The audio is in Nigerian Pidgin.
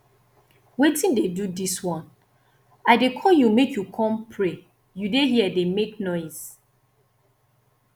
wetin dey do dis one i dey call you make you come pray you dey here dey make noise